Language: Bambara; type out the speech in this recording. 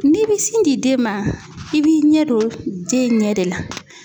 N'i bi sin di den ma, i b'i ɲɛ don den ɲɛ de la.